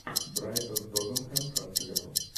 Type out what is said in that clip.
брайтон тоттенхэм как сыграл